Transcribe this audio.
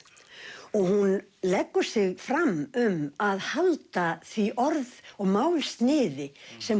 og hún leggur sig fram um að halda því orð og málsniði sem